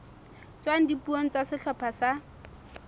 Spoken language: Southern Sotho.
tswang dipuong tsa sehlopha sa